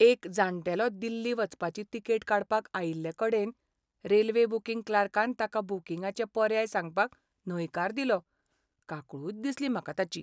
एक जाण्टेलो दिल्ली वचपाची तिकेट काडपाक आयिल्लेकडेन रेल्वे बूकिंग क्लार्कान ताका बूकिंगाचे पर्याय सांगपाक न्हयकार दिलो, काकुळट दिसली म्हाका ताची.